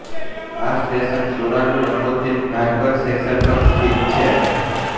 આ station શોરાનુરકોચીન harbour section પર સ્થિત છે